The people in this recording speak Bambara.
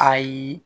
Ayi